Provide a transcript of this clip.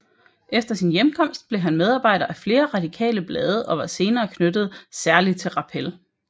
Efter sin hjemkomst blev han medarbejder af flere radikale blade og var senere knyttet særlig til Rappel